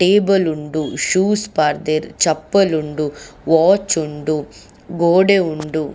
Table ಉಂಡು shoes ಪಾಡ್ದೆರ್ ಚಪ್ಪಲ್ ಉಂಡು ವಾಚ್ ಉಂಡು ಗೋಡೆ ಉಂಡು.